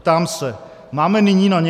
Ptám se: Máme nyní na ně?